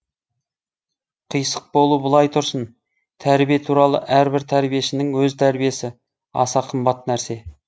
қисық болу былай тұрсын тәрбие туралы әрбір тәрбиешінің өз тәрбиесі аса қымбат нәрсе